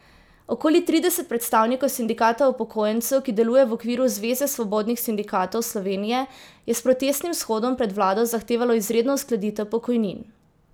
Okoli trideset predstavnikov sindikata upokojencev, ki deluje v okviru Zveze svobodnih sindikatov Slovenije, je s protestnim shodom pred vlado zahtevalo izredno uskladitev pokojnin.